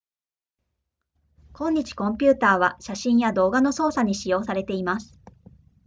今日コンピュータは写真や動画の操作に使用されています